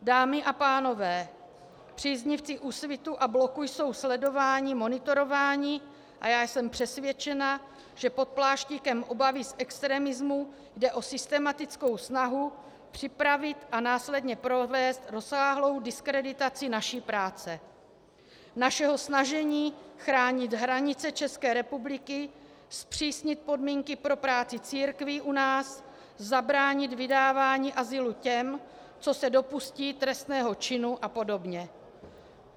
Dámy a pánové, příznivci Úsvitu a Bloku jsou sledováni, monitorováni a já jsem přesvědčena, že pod pláštíkem obavy z extremismu jde o systematickou snahu připravit a následně provést rozsáhlou diskreditaci naší práce, našeho snažení chránit hranice České republiky, zpřísnit podmínky pro práci církví u nás, zabránit vydávání azylu těm, co se dopustí trestného činu a podobně.